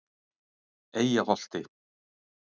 Eyjaholti